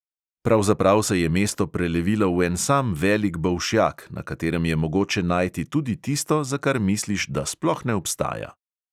Pravzaprav se je mesto prelevilo v en sam velik bolšjak, na katerem je mogoče najti tudi tisto, za kar misliš, da sploh ne obstaja.